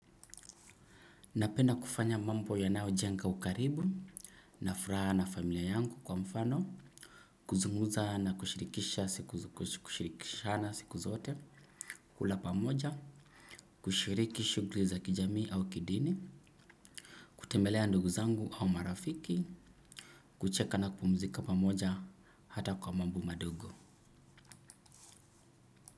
Napenda kufanya mambo yanayojenga ukaribu, na furaha na familia yangu kwa mfano, kuzungumza na kushirikishana siku zote, kula pamoja, kushiriki shughuli za kijamii au kidini, kutembelea ndugu zangu au marafiki, kucheka na kupumzika pamoja hata kwa mambo madogo.